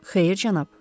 Xeyr, cənab.